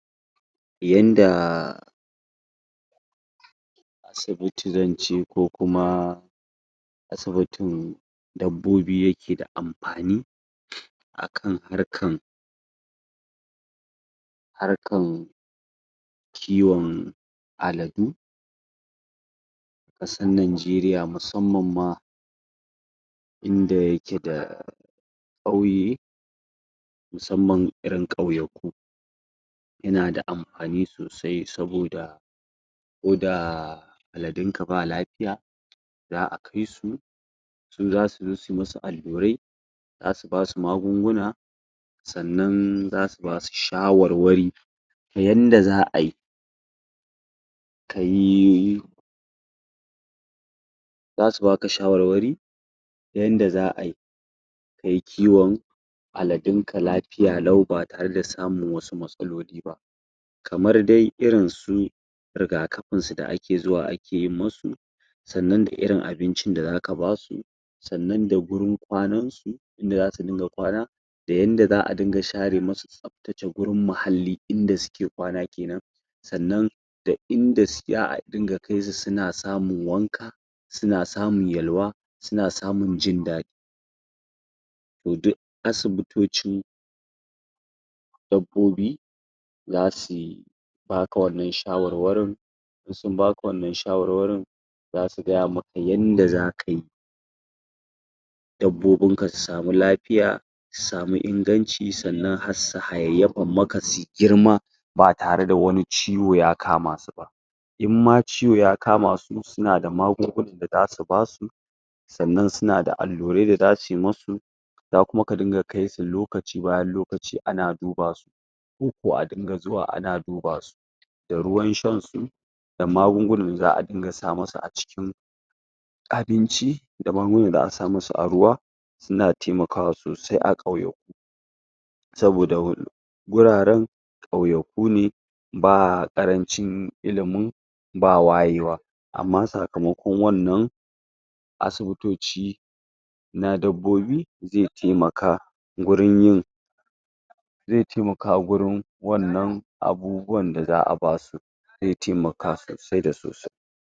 Yanda asibiti zan ce, ko kuma asibitin dabbobi yake da amfani akan harkan harkan kiwon aladu, ƙasan Ninjeriya musamman ma inda yake da ƙauye, musamman irin ƙauyaku. Yana da amfani sosai saboda ko daa aladin ka ba lafiya za'a kai su, su za su zo su musu allurai, za su basu magunguna, sannan za su basu shawarwari ta yanda za'ayi kayi za su baka shawarwari ta yanda za'ayi kai kiwon aladun ka lafiya lau ba tare da samun wasu matsaloli ba. Kamar dai irin su rigakafin su da ake zuwa ake yin masu, sannan da irin abincin da zaka ba su, sannan da wurin kwanan su, inda za su dinga kwana, da yanda za'a dinga share ma su tsaftace gurin mahalli, inda suke kwana kenan, sannan da inda za'a dunga kai su suna samun wanka, suna samun yallawa, suna samun jin daɗi. Toh, duk asibutocin dabbobi zasuyi baka wannan shawarwarin, in sun baka wannan shawarwarin, za su gaya maka yanda za kayi dabbobun ka su sami lafiya, su sami inganci sannan hassu hayayyafan maka, sui girma ba tare da wani ciwo ya kama su ba, in ma ciwo ya kama su, suna da magungunan da zasu basu, sannan suna da allurai da za suyi masu, za kuma ka dunga kai su lokaci bayan lokaci ana duba su, koko a dunga zuwa ana duba su. Da ruwan shan su, da magungunan da za'a dunga sa masu a cikin abinci, da magungunan da za'a sa masu a ruwa, suna taimakawa sosai a ƙauyaku saboda wuraran ƙauyaku ne, ba ƙarancin illimin ba wayewa, amma sakamakon wannan asibitoci na dabbobi ze taimaka gurin yin zai taimaka gurin wannan abubuwan da za'a basu, ze taimaka sosai da sosai.